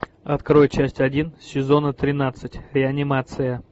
открой часть один сезона тринадцать реанимация